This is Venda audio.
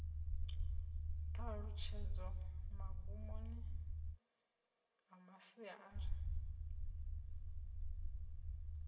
ṱhalutshedzo magumoni a masia ari